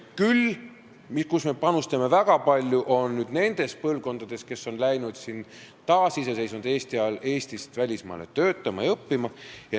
Küll me panustame väga palju nendele põlvkondadele, kes on läinud taasiseseisvunud Eesti ajal Eestist välismaale töötama ja õppima.